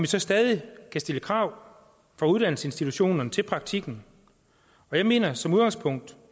så stadig kan stille krav fra uddannelsesinstitutionerne til praktikken jeg mener som udgangspunkt